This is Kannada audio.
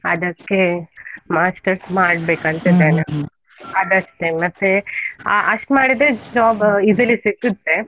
ಅದಕ್ಕೆ master's ಮಾಡ್ಬೇಕಂತ ಇದ್ದೇನೆ, ಅದಷ್ಟೇ ಮತ್ತೆ ಆ ಅಷ್ಟ್ ಮಾಡಿದ್ರೆ job easily ಸಿಗುತ್ತೆ.